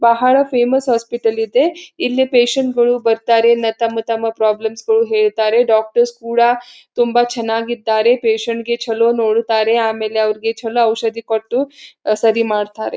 ಬಹಳ famous hospital ಇದೆ ಇಲ್ಲಿ ಪೇಷಂಟ್ ಗಳು ಬರ್ತಾರೆ ನ ತಮ್ಮ ತಮ್ಮ ಪ್ರಾಬ್ಲಮ್ಸ್ ಗಳು ಹೇಳ್ತಾರೆ ಡಾಕ್ಟರ್ಸ್ ಕೂಡ ತುಂಬಾ ಚನ್ನಾಗಿ ಇದ್ದಾರೆ ಪೇಷಂಟ್ ಗೆ ಚಲೋ ನೋಡುತ್ತಾರೆ ಆಮೇಲೆ ಅವ್ರಿಗೆ ಚಲೋ ಔಷದಿ ಕೊಟ್ಟು ಸರಿ ಮಾಡ್ತಾರೆ.